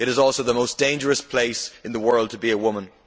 It is the most dangerous place in the world to be a woman.